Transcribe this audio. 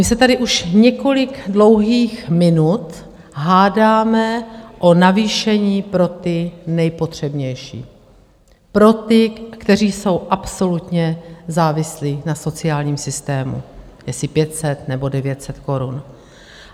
My se tady už několik dlouhých minut hádáme o navýšení pro ty nejpotřebnější, pro ty, kteří jsou absolutně závislí na sociálním systému, jestli 500, nebo 900 korun.